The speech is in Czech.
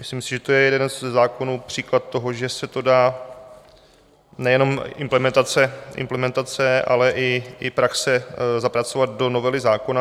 Myslím si, že to je jeden ze zákonů, příklad toho, že se to dá, nejenom implementace, ale i praxe, zapracovat do novely zákona.